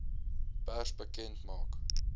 pers bekend maak